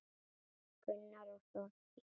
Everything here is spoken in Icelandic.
Gunnar og Þórdís.